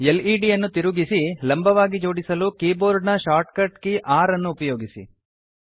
LED ಅನ್ನು ತಿರುಗಿಸಿ ಲಂಬವಾಗಿ ಜೋಡಿಸಲು ಕೀಬೋರ್ಡ್ ನ ಶಾರ್ಟ್ ಕಟ್ ಕೀ r ಅನ್ನು ಉಪಯೋಗಿಸಿ